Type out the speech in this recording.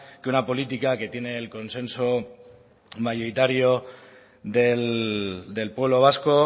que una política que tiene el consenso mayoritario del pueblo vasco